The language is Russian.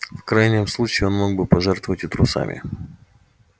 в крайнем случае он мог бы пожертвовать и трусами